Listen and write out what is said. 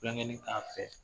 Tulonkɛnin k'a fɛ